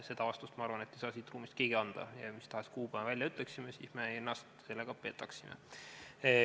Seda vastust, ma arvan, ei saa siit ruumist keegi anda, sest mis tahes kuupäeva me välja ütleksime, sellega me ennast petaksime.